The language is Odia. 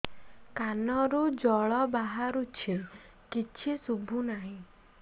କାନରୁ ଜଳ ବାହାରୁଛି କିଛି ଶୁଭୁ ନାହିଁ